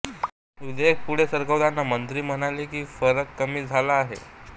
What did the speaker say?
विधेयक पुढे सरकवताना मंत्री म्हणाले की फरक कमी झाले आहे